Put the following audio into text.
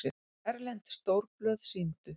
Erlend stórblöð sýndu